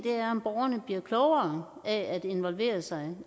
om borgerne bliver klogere af at involvere sig